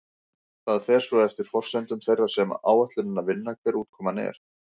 Það fer svo eftir forsendum þeirra sem áætlunina vinna hver útkoman er.